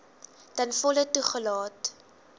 ten volle toegelaat